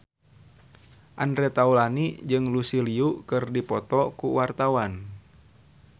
Andre Taulany jeung Lucy Liu keur dipoto ku wartawan